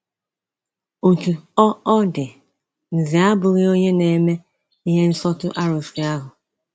Otú ọ ọ dị, Nze abụghị onye na-eme ihe nsọtụ arụsị ahụ.